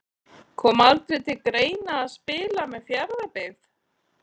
Kom aldrei til greina að spila með Fjarðabyggð?